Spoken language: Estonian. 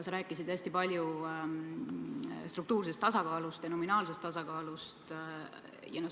Sa rääkisid hästi palju struktuursest tasakaalust ja nominaalsest tasakaalust.